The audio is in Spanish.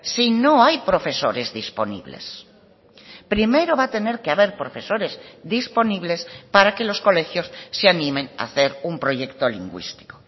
si no hay profesores disponibles primero va a tener que haber profesores disponibles para que los colegios se animen a hacer un proyecto lingüístico